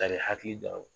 Kari hakili don a la